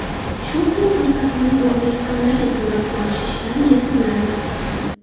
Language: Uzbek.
Shopping” ko‘rsatuvining O‘zbekistondagi suratga olish ishlari yakunlandi.